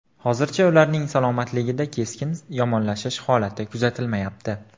Hozircha ularning salomatligida keskin yomonlashish holati kuzatilmayapti.